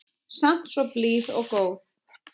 Samt svo blíð og góð.